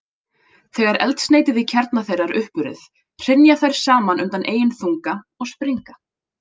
Þegar eldsneytið í kjarna þeirra er uppurið, hrynja þær saman undan eigin þunga og springa.